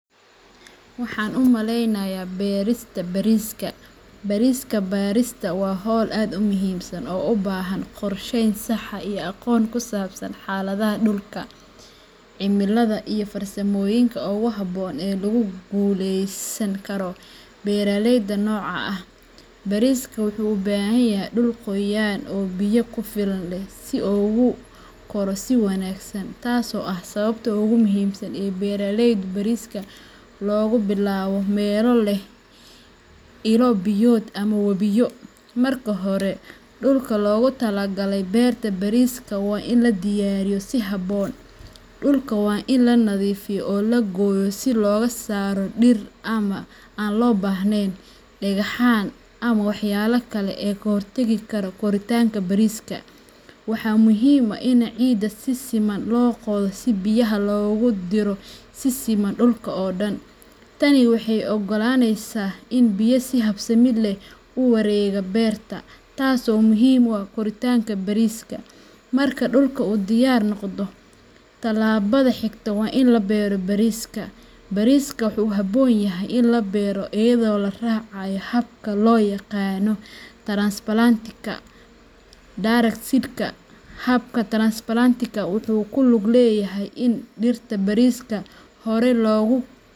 Waxan umaleynaya berta bariiska. Berista bariiska waa hawl aad u muhiimsan oo u baahan qorsheyn sax ah iyo aqoon ku saabsan xaaladaha dhulka, cimilada, iyo farsamooyinka ugu habboon ee lagu guuleysan karo beeraleyda noocan ah. Bariisku wuxuu u baahan yahay dhul qoyan oo biyo ku filan leh si uu ugu koro si wanaagsan, taas oo ah sababta ugu muhiimsan ee beeraleyda bariiska looga bilaabo meelo leh ilo biyood ama wabiyo. Marka hore, dhulka loogu talagalay beerta bariiska waa in la diyaariyo si habboon. Dhulka waa in la nadiifiyaa oo la gooyaa si looga saaro dhir aan loo baahnayn, dhagxaan, ama waxyaabaha kale ee ka hortagi kara koritaanka bariiska. Waxaa muhiim ah in ciidda si siman loo qodo si biyaha loogu diro si siman dhulka oo dhan. Tani waxay u oggolaaneysaa in biyo si habsami leh u wareegaan beerta, taas oo muhiim u ah koritaanka bariiska. Marka dhulku uu diyaar noqdo, talaabada xigta waa in la beero bariiska. Bariisku wuxuu u baahan yahay in la beero iyadoo la raacayo habka loo yaqaan transplanting ama direct seeding. Habka transplantingka wuxuu ku lug leeyahay in dhirta bariiska hore loogu.